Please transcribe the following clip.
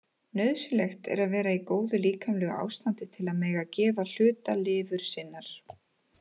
Nauðsynlegt er að vera í góðu líkamlegu ástandi til að mega gefa hluta lifur sinnar.